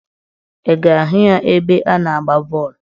Ị ga-ahụ ya ebe a na-agba bọọlụ